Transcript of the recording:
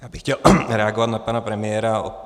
Já bych chtěl reagovat na pana premiéra.